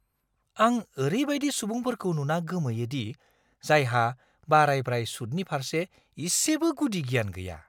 आं ओरैबायदि सुबुंफोरखौ नुना गोमोयो दि जायहा बारायब्राय सुदनि फारसे इसेबो गुदि गियान गैया!